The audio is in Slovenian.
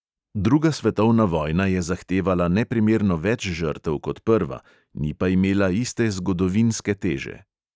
Druga svetovna vojna je zahtevala neprimerno več žrtev kot prva, ni pa imela iste zgodovinske teže.